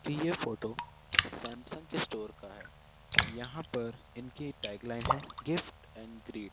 ये photo Samsung के store का है यहां पर इनकी टैगलाइन है गिफ्ट एंड ग्रिप --